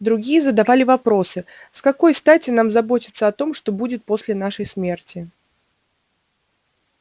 другие задавали вопросы с какой стати нам заботиться о том что будет после нашей смерти